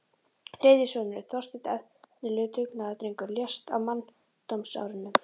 Þriðji sonurinn, Þorsteinn, efnilegur dugnaðardrengur, lést á manndómsárunum.